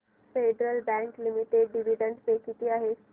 federal Bank Limited dividend pay किती आहे